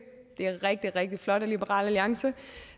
det er rigtig rigtig flot af liberal alliance